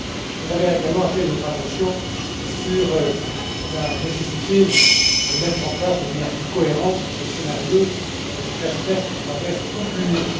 Vous avez également attiré notre attention sur la nécessité de mettre en place de manière plus cohérente des scénarios de stress tests à travers toute l'Union.